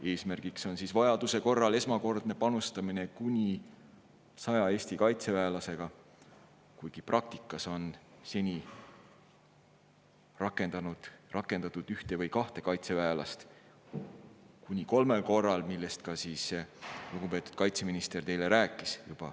Eesmärk on vajaduse korral esmakordne panustamine kuni 100 Eesti kaitseväelasega, kuigi praktikas on seni rakendatud ühte või kahte kaitseväelast kolmel korral, millest ka lugupeetud kaitseminister juba rääkis.